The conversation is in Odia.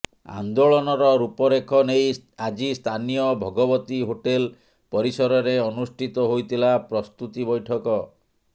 ଆନ୍ଦୋଳନର ରୂପ ରେଖ ନେଇ ଆଜି ସ୍ଥାନୀୟ ଭଗବତୀ ହୋଟେଲ୍ ପରିସରରେ ଅନୁଷ୍ଠିତ ହୋଇଥିଲା ପ୍ରସ୍ତୁତି ବୈଠକ